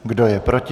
Kdo je proti?